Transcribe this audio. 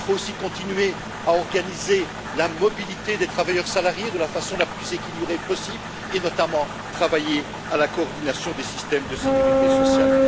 Il faut aussi continuer à organiser la mobilité des travailleurs salariés, de la façon la plus équilibrée possible, et notamment travailler à la coordination des systèmes de sécurité sociale.